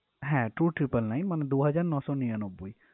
হ্যা two triple nine মানে দু হাজার ন শ নিরানব্বই